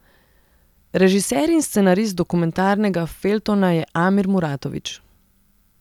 Režiser in scenarist dokumentarnega feljtona je Amir Muratović.